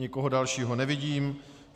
Nikoho dalšího nevidím.